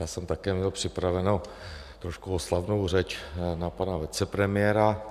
Já jsem měl také připravenou trošku oslavnou řeč na pana vicepremiéra.